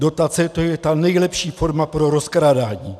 Dotace, to je ta nejlepší forma pro rozkrádání.